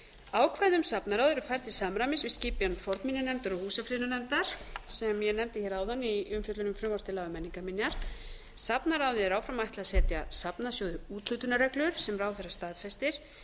ákvæði um safnaráð eru færð til samræmis við skipan fornminjanefndar og húsafriðunarnefndar sem ég nefndi hér áðan í umfjöllun um frumvarp til laga um menningarminjar safnaráði er áfram ætlað að setja safnasjóði úthlutunarreglur sem ráðherra staðfestir